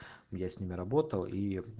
я с ними работал и